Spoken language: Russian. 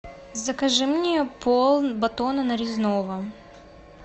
закажи мне пол батона нарезного